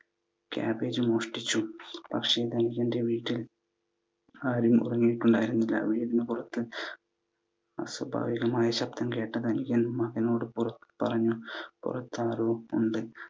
കാബേജും മോഷ്ടിച്ചു. പക്ഷെ ധനികൻ്റെ വീട്ടിൽ ആരും ഉറങ്ങിയിട്ടുണ്ടായിരുന്നില്ല. വീടിനു പുറത്തു അസ്വാഭാവികമായ ശബ്ദം കേട്ട ധനികൻ മകനോട് പറഞ്ഞു പുറത്താരോ ഉണ്ട്.